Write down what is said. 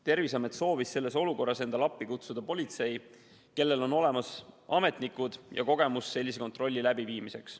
Terviseamet soovis selles olukorras kutsuda endale appi politsei, kellel on olemas ametnikud ja kogemus sellise kontrolli läbiviimiseks.